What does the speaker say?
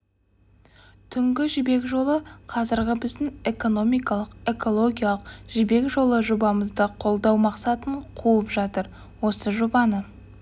түнгі жібек жолы қазіргі біздің экономикалық экологиялық жібек жолы жобамызды қолдау мақсатын қуып жатыр осы жобаны